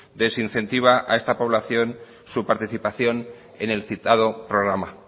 desincentiva a esta población su participación en el citado programa